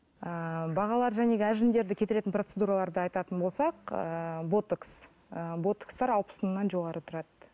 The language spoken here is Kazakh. ыыы бағалары әжімдерді кетіретін процедураларды айтатын болсақ ыыы ботокс ы ботокстар алпыс мыңнан жоғары тұрады